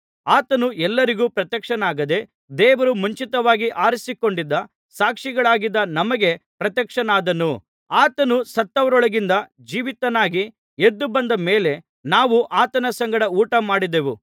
ಆತನು ಎಲ್ಲರಿಗೂ ಪ್ರತ್ಯಕ್ಷನಾಗದೆ ದೇವರು ಮುಂಚಿತವಾಗಿ ಆರಿಸಿಕೊಂಡಿದ್ದ ಸಾಕ್ಷಿಗಳಾದ ನಮಗೆ ಪ್ರತ್ಯಕ್ಷನಾದನು ಆತನು ಸತ್ತವರೊಳಗಿಂದ ಜೀವಿತನಾಗಿ ಎದ್ದು ಬಂದ ಮೇಲೆ ನಾವು ಆತನ ಸಂಗಡ ಊಟ ಮಾಡಿದೆವು